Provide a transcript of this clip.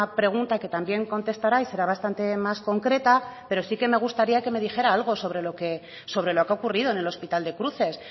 pregunta que también contestará y será bastante más concreta pero sí que me gustaría que me dijera algo sobre lo que ha ocurrido en el hospital de cruces